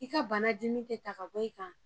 I ka bana dimi tɛ ta ka bɔ i kan